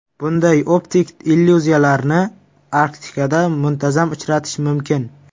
Bunday optik illyuziyalarni Arktikada muntazam uchratish mumkin.